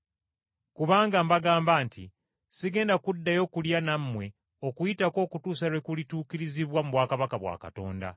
Kubanga mbagamba nti sigenda kuddayo kulya nammwe Okuyitako okutuusa lwe kulituukirizibwa mu bwakabaka bwa Katonda.”